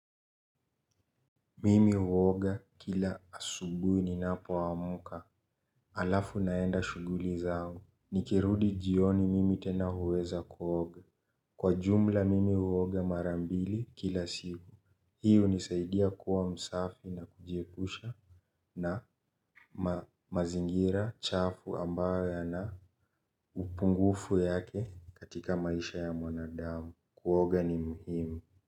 Mimi huoga kila asubuhi ni napoamka. Alafu naenda shughuli zangu. Nikirudi jioni mimi tena huweza kuoga. Kwa jumla mimi huoga mara mbili kila siku hii hunisaidia kuwa msafi na kujiepusha na mazingira chafu ambayo yana upungufu yake katika maisha ya mwanadamu. Kuoga ni muhimu.